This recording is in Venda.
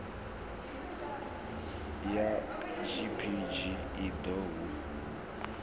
ya gpg i ḓo hu